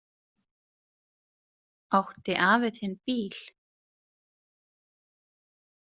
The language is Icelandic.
Átti afi þinn bíl?